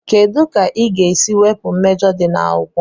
kedu ka ị ga-esi wepụ mmejọ di na akwụkwọ?